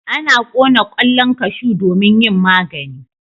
Ana kona kwallon kashu domin yin magani.